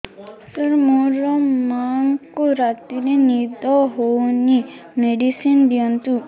ସାର ମୋର ମାଆଙ୍କୁ ରାତିରେ ନିଦ ହଉନି ମେଡିସିନ ଦିଅନ୍ତୁ